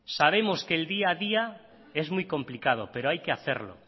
sabemos que el día a día es muy complicado pero hay que hacerlo